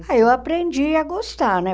Ah, eu aprendi a gostar, né?